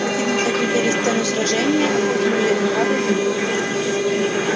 противники оглядели сцену сражения окутанную зеленоватой дымкой